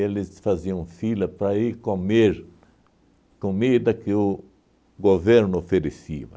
faziam fila para ir comer comida que o governo oferecia.